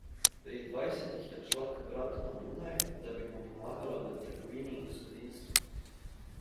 Pri dvajsetih je odšla k bratu na Dunaj, da bi mu pomagala v trgovini in gospodinjstvu.